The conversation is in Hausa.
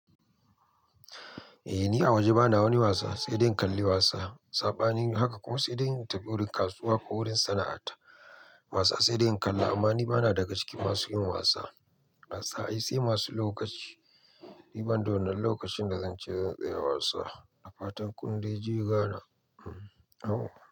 Eh ni a waje bana wani wasa, sai dai in kalli wasa. Saɓanin haka kuma sai dai in tafi wurin kasuwa ko wurin sana'a ta wasa sai dai in kalla. Amma ni bana daga cikin masu yin wasa. Wasa ai sai masu lokaci. Ni ban da wannan lokacin da zan ce zan tsaya wasa. Na fatan kun dai ji ga na.